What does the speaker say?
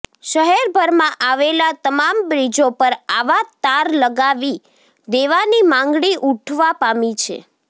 શહેરભરમાં આવેલા તમામ બ્રિજો પર આવા તાર લગાવી દેવાની માંગણી ઉઠવા પામી છે